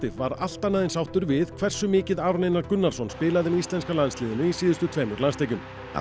var allt annað en sáttur við hversu mikið Aron Einar Gunnarsson spilaði með íslenska landsliðinu í síðustu tveimur landsleikjum